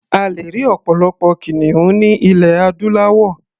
A lè rí ọ̀pọ̀lọpọ̀ kìnìún ní ilẹ̀ adúláwọ̀.